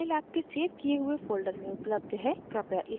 * आपके लिए यह file आपके सेव किये हुए folder में उपलब्ध है